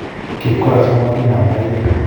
Kibkaras ko ma kinomdo keey